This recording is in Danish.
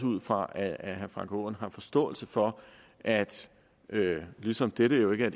ud fra at herre frank aaen har forståelse for at ligesom dette jo ikke er